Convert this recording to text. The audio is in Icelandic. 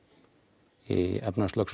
í